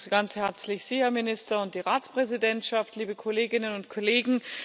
Ich begrüße Sie ganz herzlich, Herr Minister und die Ratspräsidentschaft, liebe Kolleginnen und Kollegen!